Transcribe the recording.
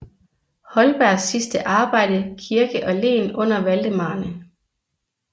Holbergs sidste arbejde Kirke og Len under Valdemarerne